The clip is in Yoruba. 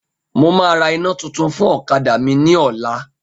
Mo máa ra iná tuntun fún ọ̀kadà mi ní ọ̀la